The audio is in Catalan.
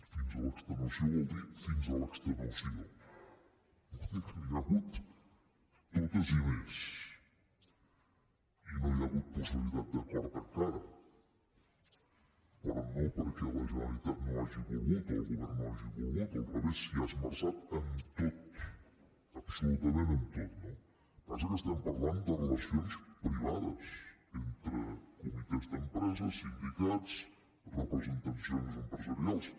fins a l’extenuació vol dir fins a l’extenuació vol dir que n’hi ha hagut totes i més i no hi ha hagut possibilitat d’acord encara però no perquè la generalitat no hagi volgut o el govern no hagi volgut al revés s’hi ha esmerçat en tot absolutament en tot no el que passa que estem parlant de relacions privades entre comitès d’empresa sindicats representacions empresarials